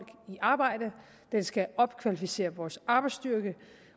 i arbejde den skal opkvalificere vores arbejdsstyrke